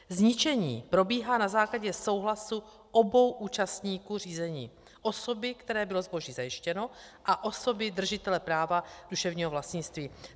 Zničení probíhá na základě souhlasu obou účastníků řízení, osoby, které bylo zboží zajištěno, a osoby držitele práva duševního vlastnictví.